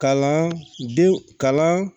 Kalandenw kalan